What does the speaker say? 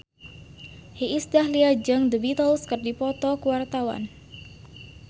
Iis Dahlia jeung The Beatles keur dipoto ku wartawan